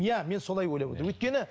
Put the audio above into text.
иә мен солай ойлап отырмын өйткені